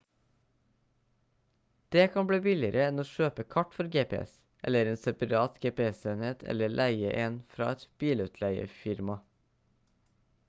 det kan bli billigere enn å kjøpe kart for gps eller en separat gps-enhet eller leie en fra et bilutleiefirma